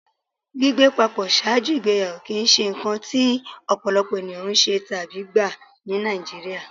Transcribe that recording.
Gbigbé pàpọ̀ ṣáàjú igbèyàwó kí í ṣé nkàn tí ọ̀pọ̀lọ̀pọ̀ ènìyàn ṣé tàbí gbà ní Nàìjíríà.